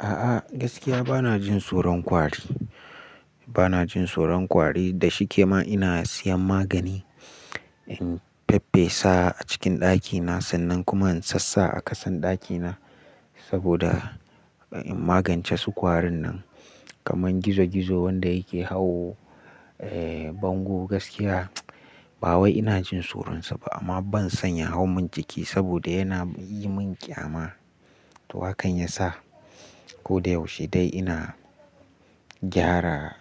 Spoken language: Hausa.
A'a gaskiya bana jin tsoron ƙwari. Bana jin tsoron ƙwari da shi kema ina sayan magani in faffesa a cikin ɗakina sannan kuma in sassa a ƙasan ɗakina saboda in magance su ƙwarin nan. Kaman gizo gizo wanda yake hawo, eh bango gaskiya ba wai ina jin tsoronsa ba amma ban son ya hau min jiki saboda yana yi min ƙyama. To hakan yasa koda yaushe dai ina gyara